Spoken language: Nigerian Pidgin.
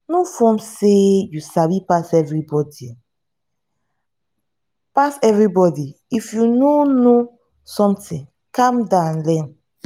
no form sey you sabi pass everybody pass everybody if you no know something calm down learn